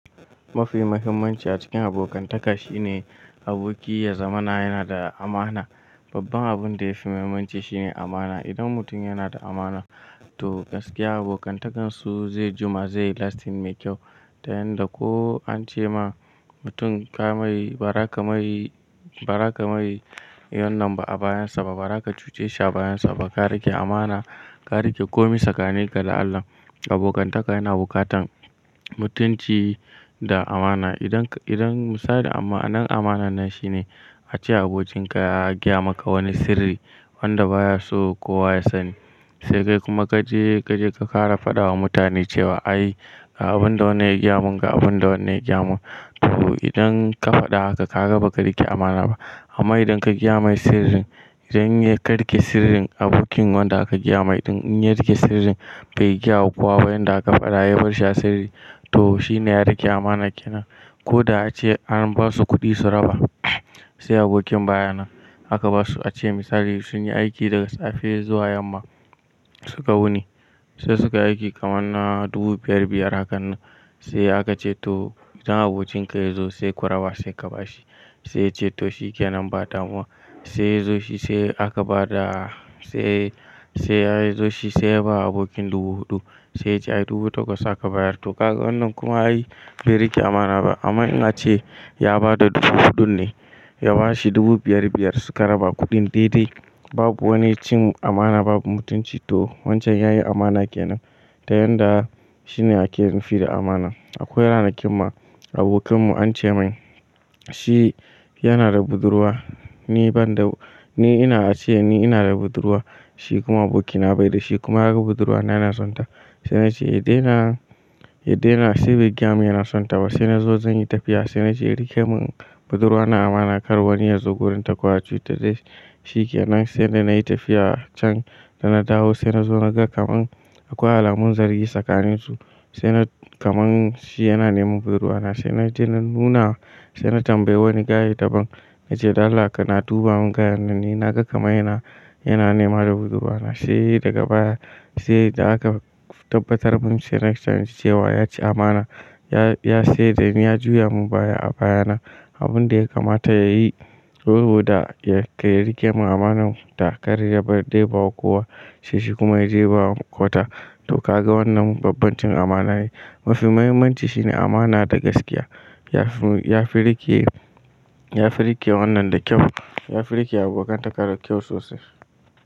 Mafi muhimmanci a cikin abokantaka shine aboki ya zama na yana da amana. Babban abin da yafi muhimmanci shine amana. Idan mutum yana da amana to gaskiya abokantakansu zai jima, zai yi lasting mai kyau. Ta yanda ko an ce ma mutum ka mai, ba ra ka mai, ba ra ka mai wannan ba a bayansa ba, ba ra ka cuce shi a bayansa ba, ka rike amana, ka rike komi tsakanin ka da Allah. Abokantaka yana bukatan mutunci da amana. Idan ka, idan misali a ma, anan amanan nan shine ace abokinka ya gaya maka wani sirri wanda baya so kowa ya sani. Sai kai kuma ka je, ka je ka ƙara faɗa wa mutane cewa ai ga abin da wannan ya gaya mun, ga abin da wannan ya gaya mun. To idan ka faɗa haka ka kaga baka rike amana ba. Amma idan ka gaya mai sirrin, idan ya ka rike sirrin abokin wanda aka gaya mai din ya rike sirrin bai gaya wa kowa ba yanda aka faɗa, ya bar shi a sirri to shine ya rike amana kenan. Ko da ace an ba su kuɗi su raba sai abokin baya nan aka basu ace misali sunyi aiki daga safe zuwa yamma suka wuni. Sai suka yi aiki kamar na dubu biyar biyar hakan nan. Sai aka ce to idan abocinka ya zo sai kuraba sai ka ba shi. Sai yace to shi ke nan ba damuwa. Sai ya zo shi sai aka ba da, sai, sai ya zo shi sai ya ba abokin dubu huɗu. Sai ya ce ai dubu takwas aka bayar. To kaga wannan kuma ai bai rike amana ba. Amma in ace ya bada dubu huɗun ne, ya bashi dubu biyar biyar suka raba kuɗin daidai babu wani cin amana babu mutunci to wancan yayi amana kenan. Ta yanda shine ake nufi da amana. Akwai ranakin ma abokinmu an ce mani shi yanada budurwa, ni banda, ni ina ace ni ina da budurwa. Shi kuma abokina baida shi kuma yaga budurwa na, yana sonta. Sai nace yadaina yadaina, sai bai gayamu yana sonta ba. Sai nazo zan yi tafiya sai nace ya rike mun budurwa na amana kar wani yazo gurinta ko ya cuci ta dai shi ke nan. Sai da nayi tafiya can dana dawo sai nazo naga kaman akwai alamun zargi tsakanin su. Sai na kaman shi yana neman budurwa na. Sai naje na nuna, sai na tambayi wani gaye daban nace dan Allah kana duba mun gayer nan ni naga kamar yana, yana nema da budurwa na. Sai daga baya, sai da aka tabbatar mun sai next time cewa ya ci amana. Ya, ya sai da ni, ya juya mun baya a baya na, abun da ya kamata yayi saboda ya riƙe mun amanar ta karya yadda ya ba wa kowa. Sai shi kuma ya je ya ba wa wata. To ka ga wannan babban cin amana ne. Mafi muhimmanci shine amana da gaskiya. Yafi, yafi rike, yafi riƙe wannan da kyau. Yafi riƙe abokantaka da kyau sosai.